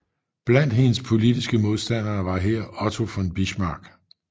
Blandt hendes politiske modstandere var her Otto von Bismarck